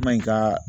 Ma in ka